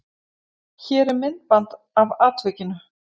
Hér er myndband af atvikinu.